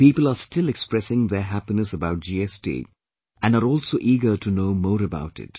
People are still expressing their happiness about GST, and are also eager to know more about it